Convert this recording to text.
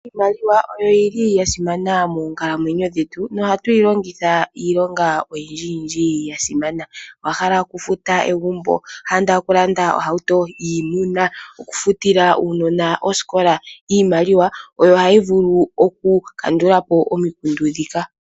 Iimaliwa oyili yasimana moonkalamwenyo dhetu, nohatu yi longitha iilonga oyindji yindji yasimana. Owa hala okufuta egumbo? Owa hala okulanda ohauto? Okufutila uunona oosikola? iimaliwa oyo hayi vulu oku kandulapo omikundu dhika.